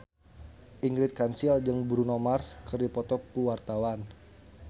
Ingrid Kansil jeung Bruno Mars keur dipoto ku wartawan